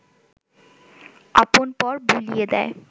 আপন-পর ভুলিয়ে দেয়